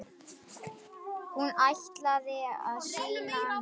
Hún ætlaði að sýna annað.